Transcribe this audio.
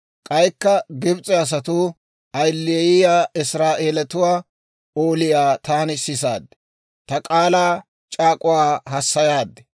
K'aykka Gibs'e asatuu ayileyiyaa Israa'eeletuwaa ooliyaa taani sisaade, ta k'aalaa c'aak'uwaa hassayaadi.